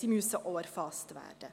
Sie müssen auch erfasst werden.